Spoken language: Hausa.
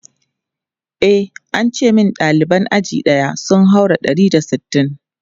E, an ce min ɗaliban aji ɗaya sun haura ɗari da sittin.